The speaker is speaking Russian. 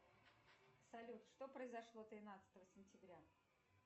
салют что произошло тринадцатого сентября